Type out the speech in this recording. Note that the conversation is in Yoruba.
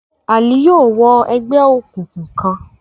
Ali yóò wọ ègbé òkùnkùn kán